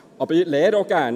Ich lerne auch gerne.